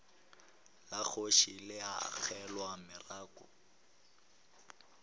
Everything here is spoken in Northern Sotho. la kgoši le agelwa morako